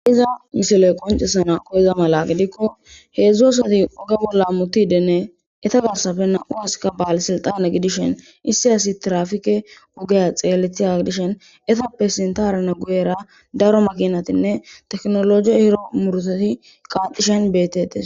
Iza misiley qoncesana koyiza mala gidikko heedzdzu asati oge bolla hamutidenne eta garsappe na7u aska baale silxane gidishen issi asi trafike ogeya xeellethiyaga gidishen etappe sintharane guyera daro makinatinne teknoloje ehido muruutati qaaxishin beetetes.